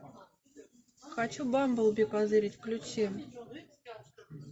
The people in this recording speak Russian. хочу бамблби позырить включи